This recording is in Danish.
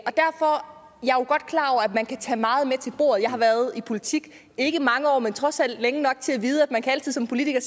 man kan tage meget med til bordet jeg har været i politik ikke i mange år men trods alt længe nok til at vide at man altid som politiker